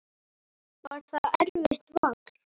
Var það erfitt vall?